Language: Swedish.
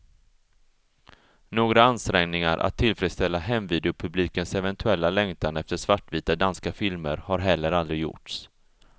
Några ansträngningar att tillfredsställa hemvideopublikens eventuella längtan efter svartvita danska filmer har heller aldrig gjorts.